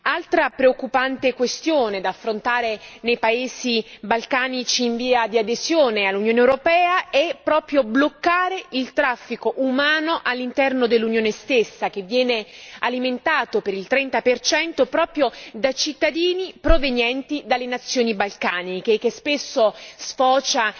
Altra preoccupante questione da affrontare nei paesi balcanici in via di adesione all'Unione europea è il fatto di bloccare il traffico di esseri umani all'interno dell'Unione stessa, che viene alimentato per il 30 proprio da cittadini provenienti dai paesi balcanici e che spesso sfocia